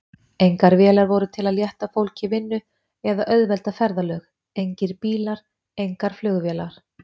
Engar vélar voru til að létta fólki vinnu eða auðvelda ferðalög, engir bílar, engar flugvélar.